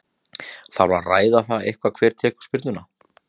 Þarf að ræða það eitthvað hver tekur spyrnuna?